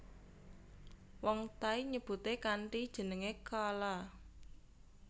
Wong Thai nyebute kanthi jeneng kaalaa